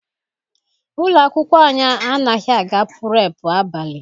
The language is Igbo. Ụlọ akwụkwọ anyị anaghị aga purepu abalị.